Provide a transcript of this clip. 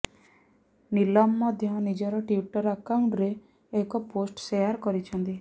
ନୀଲମ ମଧ୍ୟ ନିଜର ଟ୍ୱିଟର ଆକାଉଣ୍ଟରେ ଏକ ପୋଷ୍ଟ୍ ସେଆର କରିଛନ୍ତି